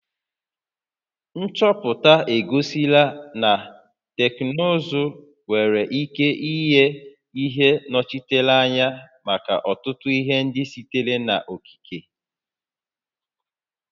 Nchọpụta egosila na teknụzụ nwere ike inye ihe nnọchiteanya maka ọtụtụ ihe ndị sitere n'okike